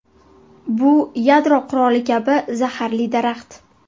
Bu yadro quroli kabi zaharli daraxt.